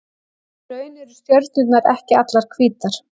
Í raun eru stjörnurnar ekki allar hvítar.